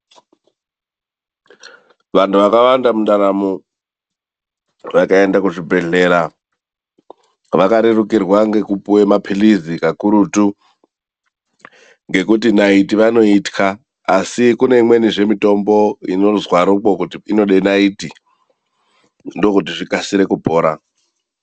Vantu vakawanda mundaramo vakaenda kuzvibhedhlera vakarerukirwa ngekupuwe maphirizi kakurutu ngekuti naiti vanoitya, asi kune imwenizve mitombo inozwaro kuti inode naiti ndo kuti zvikasire kupora.